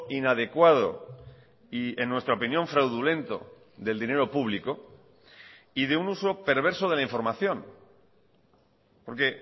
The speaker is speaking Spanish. inadecuado y en nuestra opinión fraudulento del dinero público y de un uso perverso de la información porque